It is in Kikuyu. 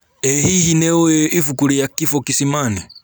ĩhihi nĩũĩ ibuku ria kifo kisimani?